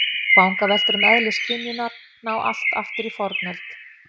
Vangaveltur um eðli skynjunar ná allt aftur í fornöld.